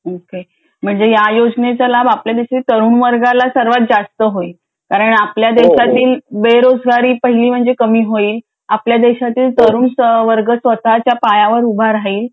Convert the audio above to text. म्हणजे आपल्या पेक्षा ह्याचा लाभ तरुण वर्गाला जास्त होईल कारण आपल्या देशातील बेरोजगारी कमी होईल आपल्या देशातील तरुण वर्ग स्वतःच्या पायावर उभा राहील